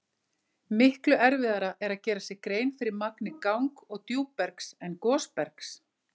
Miklu erfiðara er að gera sér grein fyrir magni gang- og djúpbergs en gosbergs.